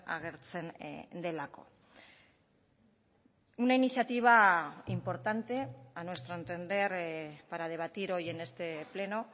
agertzen delako una iniciativa importante a nuestro entender para debatir hoy en este pleno